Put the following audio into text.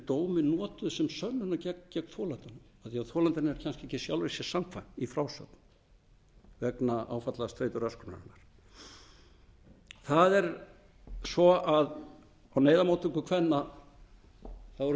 dómi notuð sem sönnun gegn þolandanum af því að þolandinn er kannski ekki sjálfum sér samkvæmur í frásögn vegna áfallastreituröskunarinnar á neyðarmóttöku kvenna eru fyllt